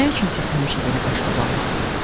Nə üçün siz həmişə belə qaşqabaqlısız?